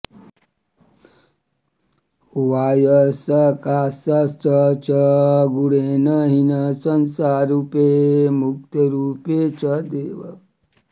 वायोः सकाशाच्च गुणेन हीना संसाररूपे मुक्तरूपे च देव